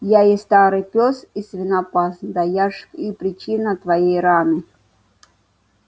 я и старый пёс и свинопас да я ж и причина твоей раны